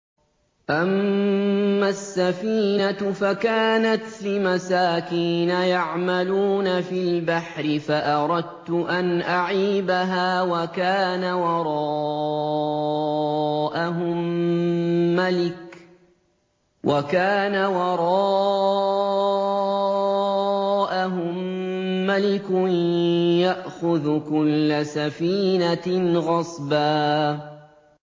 أَمَّا السَّفِينَةُ فَكَانَتْ لِمَسَاكِينَ يَعْمَلُونَ فِي الْبَحْرِ فَأَرَدتُّ أَنْ أَعِيبَهَا وَكَانَ وَرَاءَهُم مَّلِكٌ يَأْخُذُ كُلَّ سَفِينَةٍ غَصْبًا